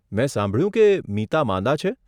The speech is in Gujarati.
મેં સાંભળ્યું કે મીતા માંદા છે.